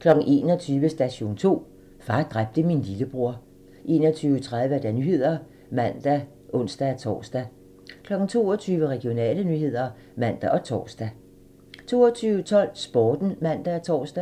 21:00: Station 2: Far dræbte min lillebror 21:30: Nyhederne (man og ons-tor) 22:00: Regionale nyheder (man og tor) 22:12: Sporten (man og tor) 22:25: